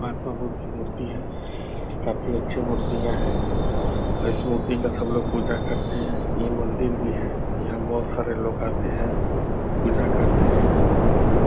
महात्मा बुद्ध की मूर्ति है काफी अच्छी मूर्तियाँ हैं और इस मूर्ति का सब लोग पूजा करते हैं ये मंदिर भी है यहाँ बहुत सारे लोग आते हैं पूजा करते हैं